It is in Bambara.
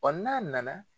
n'a nana